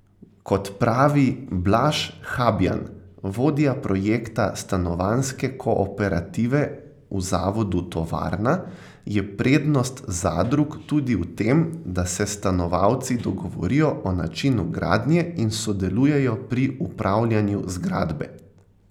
Kot pravi Blaž Habjan, vodja projekta Stanovanjske kooperative v zavodu Tovarna, je prednost zadrug tudi v tem, da se stanovalci dogovorijo o načinu gradnje in sodelujejo pri upravljanju zgradbe.